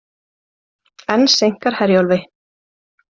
Enn seinkar Herjólfi